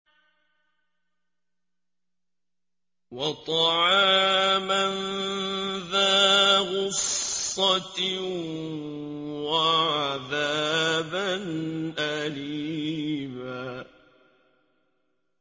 وَطَعَامًا ذَا غُصَّةٍ وَعَذَابًا أَلِيمًا